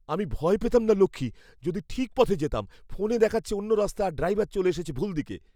আমি ভয় পেতাম না লক্ষ্মী, যদি ঠিক পথে যেতাম। ফোনে দেখাচ্ছে অন্য রাস্তা আর ড্রাইভার চলে এসেছে ভুল দিকে।